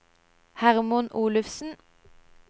Hermod Olufsen